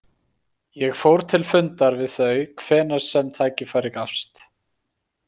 Ég fór til fundar við þau hvenær sem tækifæri gafst.